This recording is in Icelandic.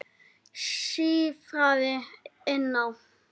sífraði Ína.